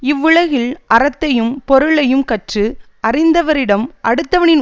இவ்வுலகில் அறத்தையும் பொருளையும் கற்று அறிந்தவரிடம் அடுத்தவனின்